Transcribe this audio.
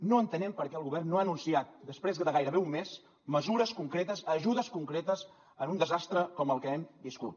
no entenem per què el govern no ha anunciat després de gairebé un mes mesures concretes ajudes concretes en un desastre com el que hem viscut